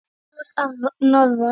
Sögur að norðan.